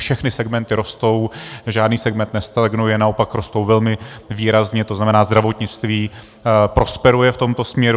Všechny segmenty rostou, žádný segment nestagnuje, naopak rostou velmi výrazně, to znamená, zdravotnictví prosperuje v tomto směru.